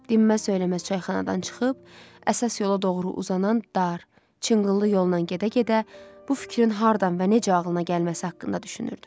Dinməz-söyləməz çayxanadan çıxıb, əsas yola doğru uzanan dar, çınqıllı yolla gedə-gedə bu fikrin hardan və necə ağılına gəlməsi haqqında düşünürdü.